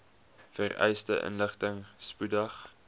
vereiste inligting spoedig